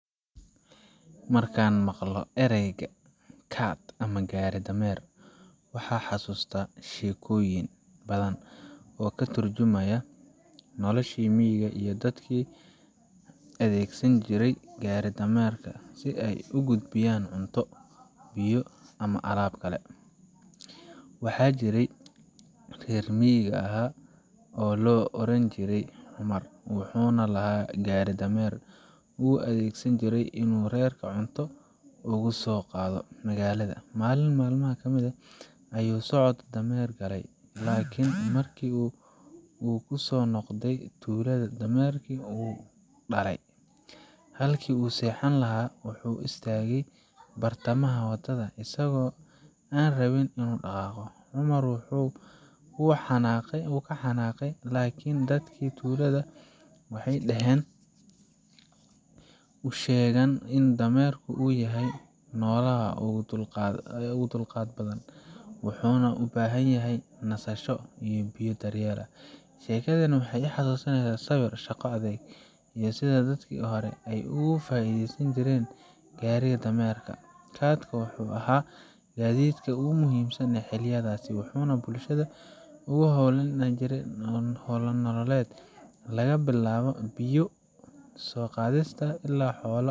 Marka aan maqlo erayga cart ama gaari dameer, waxaan xasuustaa sheekooyin badan oo ka turjumaya noloshii miyiga iyo dadkii adeegsan jiray gaari-dameerka si ay u gudbiyaan cunto, biyo, ama alaab kale. Waxaa jiray nin reer miyiga ahaa oo la odhan jiray Cumar, wuxuuna lahaa gaari dameer uu u adeegsan jiray inuu reerka cunto ugu soo qaado magaalada. Maalin maalmaha ka mid ah, ayuu socod dheer galay, laakiin markii uu ku soo noqday tuulada, dameerkii wuu daalay, halkii uu seexan lahaa ayuu istaagay bartamaha wadada, isagoo aan rabin inuu dhaqaaqo. Cumar wuu ka xanaaqay, laakiin dadkii tuulada waxay u sheegeen in dameerku uu yahay noolaha ugu dulqaadka badan, wuxuuna u baahan yahay nasasho, biyo iyo daryeel. Sheekadani waxay i xasuusisaa sabir, shaqo adag, iyo sida dadkii hore ay uga faa’iideysan jireen gaari-dameerka. cart ka waxa uu ahaa gaadiidkii ugu muhiimsanaa xilliyadaas, wuxuuna bulshada u ahaa halbowle nololeed laga bilaabo biyo soo qaadista ilaa xoolo.